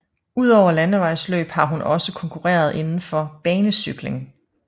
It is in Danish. Udover landevejsløb har hun også konkurreret indenfor banecykling